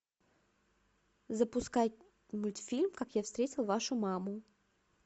запускай мультфильм как я встретил вашу маму